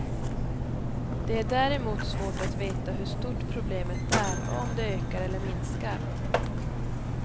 Det är däremot svårt att veta hur stort problemet är och om det ökar eller minskar.